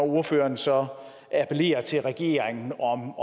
ordføreren så appellerer til regeringen om